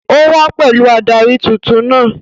Ó wá pẹ̀lú adarí tuntun náà